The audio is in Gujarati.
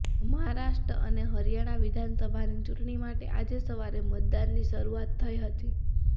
મહારાષ્ટ્ર અને હરિયાણા વિધાનસભાની ચૂંટણી માટે આજે સવારે મતદાનની શરૂઆત થઇ હતી